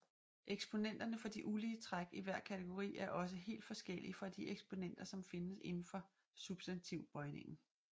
Eksponenterne for de ulige træk i hver kategori er også helt forskellige fra de eksponenter som findes indenfor substantivbøjningen